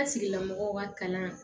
An sigila mɔgɔw ka kalan